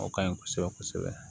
O ka ɲi kosɛbɛ kosɛbɛ